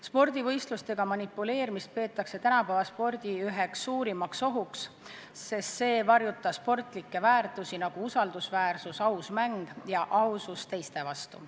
Spordivõistlustega manipuleerimist peetakse tänapäeva spordi üheks suurimaks ohuks, sest see varjutab sportlikke väärtusi, nagu usaldusväärsus, aus mäng ja ausus teiste vastu.